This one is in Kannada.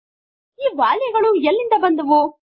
ಈ ವ್ಯಾಲ್ಯುಗಳು ಎಲ್ಲಿಂದ ಬಂದವು